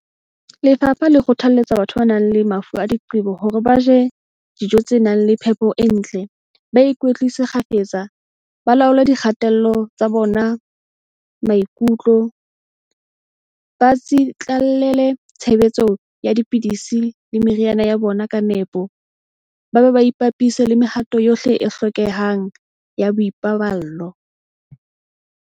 Lefapha le kgothalletsa batho ba nang le mafu a diqe-bo hore ba je dijo tse nang le phepo e ntle, ba ikwetlise kgafetsa, ba laole dikgatello tsa bona maikutlo, ba tsitla-llele tshebediso ya dipidisi le meriana ya bona ka nepo, ba be ba ipapise le mehato yohle e hlokehang ya boipaballo.